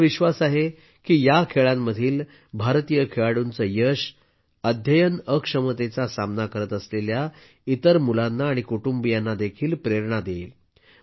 मला विश्वास आहे की या खेळांमधील भारतीय खेळाडूंचे यश अध्ययन अक्षमतेचा सामना करत असलेल्या इतर मुलांना आणि कुटुंबांना देखील प्रेरणा देईल